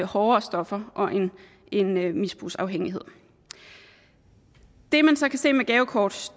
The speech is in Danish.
hårdere stoffer og en misbrugsafhængighed det man så kan se med gavekort